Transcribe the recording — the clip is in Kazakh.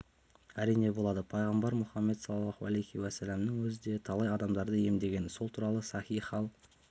әрине болады пайхамбар мұхаммед саллаллаху әлейхи уәссәламның өзі де талай адамдарды емдеген сол туралы сахи хал